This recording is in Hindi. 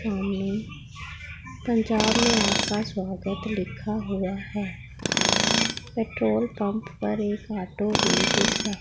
सामने पंजाब में आसपास स्वागत लिखा हुआ हैं पेट्रोल पंप पर एक ऑटो भी दिख रहा--